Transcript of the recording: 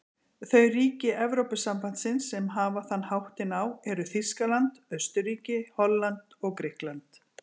Þau ríki Evrópusambandsins sem hafa þann háttinn á eru Þýskaland, Austurríki, Holland og Grikkland.